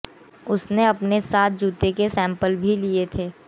उसने अपने साथ जूतों के सैंपल भी लिए थे